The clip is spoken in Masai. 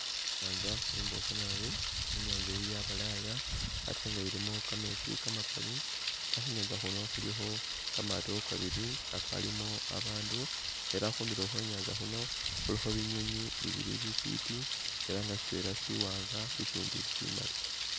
Inyanza imboofu naabi inyanza eyi yabalaya ate nga ilimo kameetsi kamakali nga khunyanza khuno khulikho kamaato kabili kakaalimo abandu ela khundulo khwenyanza khuno khuliko binywinywi bibili bifiti ela nga shitwela shiwanga ishindi shimaali.